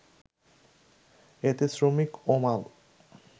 এতে শ্রমিক ও মাল